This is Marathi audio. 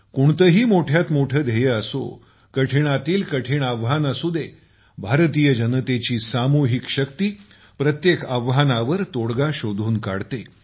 कोणतेही मोठे ध्येय असो कठीणातील कठीण आव्हान असू दे भारतीय जनतेची सामूहिक शक्ती प्रत्येक आव्हानावर तोडगा शोधून काढते